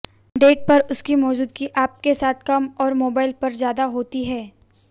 date पर उसकी मौजूदगी आप के साथ कम और मोबाइल पर ज्यादा होती है